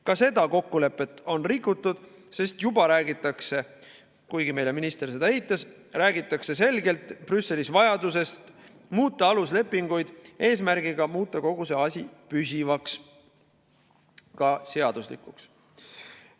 Ka seda kokkulepet on rikutud, sest juba räägitakse – kuigi minister seda eitas – Brüsselis selgelt vajadusest muuta aluslepinguid eesmärgiga muuta kogu see asi püsivaks, ka seaduslikuks.